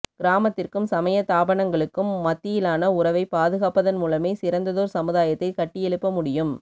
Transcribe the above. கிராமத்திற்கும் சமய தாபனங்களுக்கும் மத்தியிலான உறவை பாதுகாப்பதன் மூலமே சிறந்ததோர் சமுதாயத்தை கட்டியெழுப்ப முடியும்